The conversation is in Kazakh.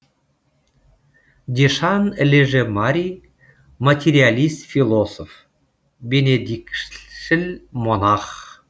дешан леже мари материалист философ бенедиктшіл монах